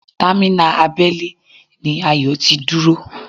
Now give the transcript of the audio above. Támínà abẹ́lé ni Ayọ̀ ti dúró